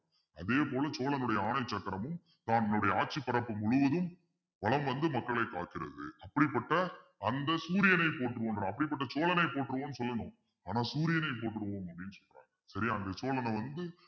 அதே போல சோழனுடைய ஆணை சக்கரமும் தன்னுடைய ஆட்சி பரப்பு முழுவதும், வலம் வந்து மக்களை காக்கிறது அப்படிப்பட்ட அந்த சூரியனை போற்றுவோம் அப்படிப்பட்ட சோழனை போற்றுவோம்ன்னு சொல்லணும் ஆனா சூரியனை போற்றுவோம் அப்பிடின்னு சொல்றாங்க சரியா அந்த சோழனை வந்து